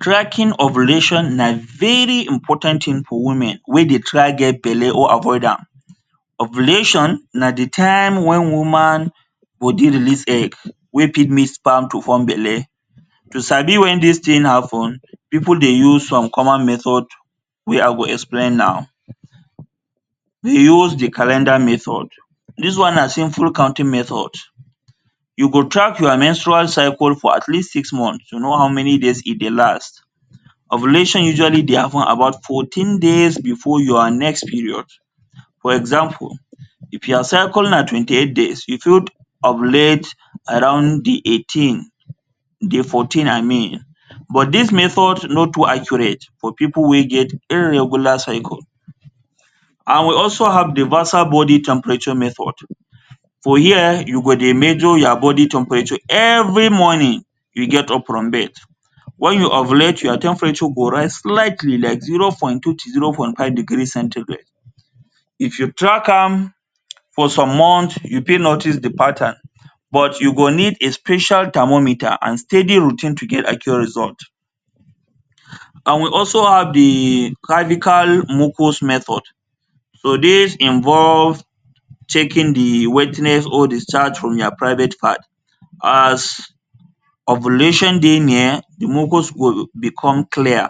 Tracking ovulation na very important thing for women wey dey try get belle or avoid am. Ovulation na dey time when woman body release egg wey fit mix sperm to form belle. To sabi when dis thing happen pipul dey use some common method wey i go explain now. Dey use dey calendar method- this one na simple counting methods, you go track your menstrual cycle for at least six months to know how many days e dey last. Ovulation usual dey happen about fourteen days before your next period. For example, if your cycle na twenty eight days you fit ovulate around dey eighteen, day fourteen i mean but dis method na too accurate for pipul wey get irregular cycle. And we also have dey vasal body temperature method- for here you go dey measure your body temperature every morning you get up from bed, when you ovulate your temperature go rise slightly like zero point twenty to zero point five degree centigrade if you track am for some months you fit notice dey pattern but you go need a special thermometer and steady routine to get accurate result. And we also have dey cervical mucus method- so dis involve checking dey wetness or discharge from your private part as ovulation dey near dey mucus go become clear,